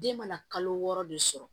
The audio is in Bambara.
Den mana kalo wɔɔrɔ de sɔrɔ